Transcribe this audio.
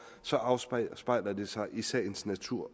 så afspejler det sig i sagens natur